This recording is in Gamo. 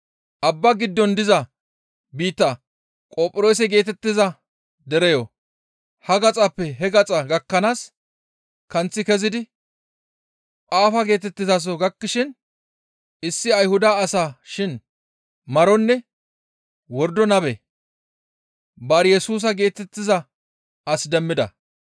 Abba giddon diza biitta Qophiroose geetettiza dereyo ha gaxappe he gaxa gakkanaas kanththi kezidi Phaafa geetettizaso gakkishin issi Ayhuda asa shin maronne wordo nabe Baar-Yesusa geetettiza as demmida.